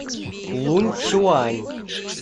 лунцюань